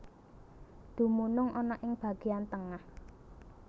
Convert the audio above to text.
Dumunung ana ing bageyan tengah